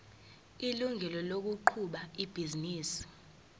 ilungelo lokuqhuba ibhizinisi